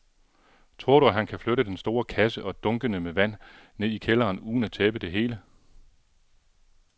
Tror du, at han kan flytte den store kasse og dunkene med vand ned i kælderen uden at tabe det hele?